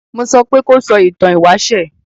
Mo sopé kó sọ ìtan ìwáṣẹ̀!